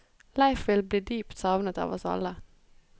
Leif vil bli dypt savnet av oss alle.